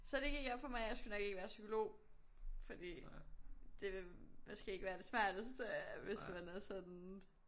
Så det gik op for mig at jeg skulle nok ikke være psykolog fordi det ville måske ikke være det smarteste hvis man er sådan